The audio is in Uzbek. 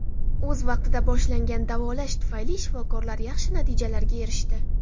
O‘z vaqtida boshlangan davolash tufayli shifokorlar yaxshi natijalarga erishdi.